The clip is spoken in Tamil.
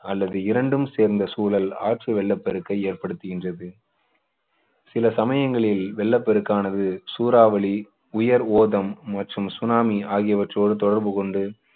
அல்லது இரண்டும் சேர்ந்த சூழல் ஆற்று வெள்ளப்பெருக்கை ஏற்படுத்துகின்றது சில சமயங்களில் வெள்ள பெருக்கானது சூறாவளி உயர் ஓதம் மற்றும் சுனாமி ஆகியவற்றோடு தொடர்பு கொண்டு